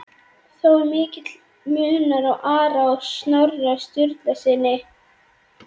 Þó er mikill munur á Ara og Snorra Sturlusyni.